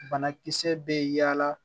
Banakisɛ bɛ yaala